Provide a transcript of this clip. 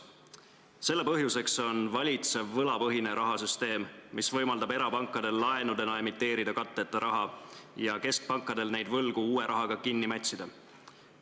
Selle põhjuseks on valitsev võlapõhine rahasüsteem, mis võimaldab erapankadel laenudena emiteerida katteta raha ja keskpankadel neid võlgu uue rahaga kinni mätsida.